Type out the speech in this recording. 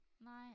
Nej